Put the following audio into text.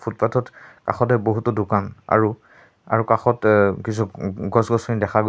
ফুটপাত ত কাষতে বহুতো দোকান আৰু আৰু কাষত আ কিছু গছ-গছনি দেখা গৈছে।